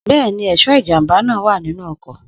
Bẹ́ẹ̀ni, ẹ̀ṣọ́ ìjàmbá náà wà nínú ọkọ̀